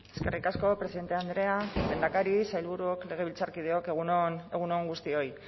eskerrik asko presidente andrea lehendakari sailburuok legebiltzarkideok egun on guztioi